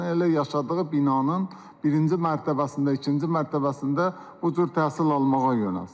elə yaşadığı binanın birinci mərtəbəsində, ikinci mərtəbəsində bu cür təhsil almağa yönəlsin.